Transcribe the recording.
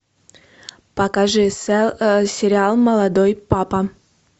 покажи сериал молодой папа